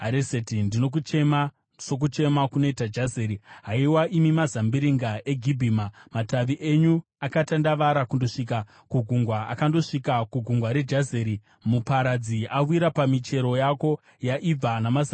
Ndinokuchema sokuchema kunoita Jazeri, haiwa imi mazambiringa eGibhima. Matavi enyu akatandavara kundosvika kugungwa; akandosvika kugungwa reJazeri. Muparadzi awira pamichero yako yaibva namazambiringa.